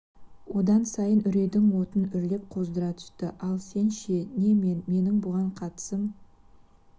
одан сайын үрейдің отын үрлеп қоздыра түсті ал сен ше не мен менің бұған қатысым